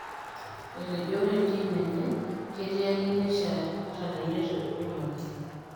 Etejo ore entim enye ketii ake eneishaa ata teneidongoki.